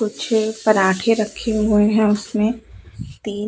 कुछ पराठे रखे हुए है उसमें तीन--